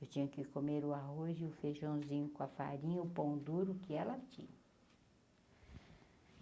Eu tinha que comer o arroz e o feijãozinho com a farinha, o pão duro que ela tinha.